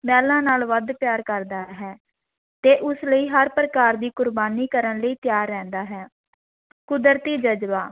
ਮਹਿਲਾਂ ਨਾਲੋਂ ਵੱਧ ਪਿਆਰ ਕਰਦਾ ਹੈ ਤੇ ਉਸ ਲਈ ਹਰ ਪ੍ਰਕਾਰ ਦੀ ਕੁਰਬਾਨੀ ਕਰਨ ਲਈ ਤਿਆਰ ਰਹਿੰਦਾ ਹੈ ਕੁਦਰਤੀ ਜਜ਼ਬਾ